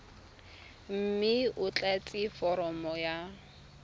mme o tlatse foromo ya